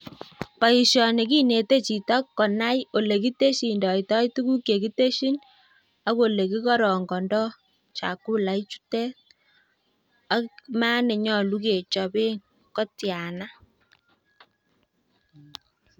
Boishoni kinete chito konai olekitesyindoito tuguuk chekitesyiin ak ole kikorongondoo chakula ichutet maat nenyolu kechoben kotiana